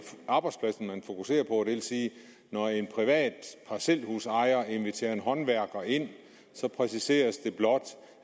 arbejdspladsen man fokuserer på og vil sige at når en privat parcelhusejer inviterer en håndværker ind præciseres det blot